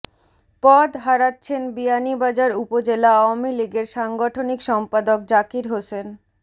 পদ হারাচ্ছেন বিয়ানীবাজার উপজেলা আওয়ামী লীগের সাংগঠনিক সম্পাদক জাকির হোসেন